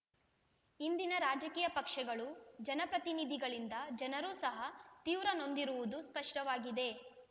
ಇಂದಿನ ರಾಜಕೀಯ ಪಕ್ಷಗಳು ಜನ ಪ್ರತಿನಿಧಿಗಳಿಂದ ಜನರೂ ಸಹ ತೀವ್ರ ನೊಂದಿರುವುದು ಸ್ಪಷ್ಟವಾಗಿದೆ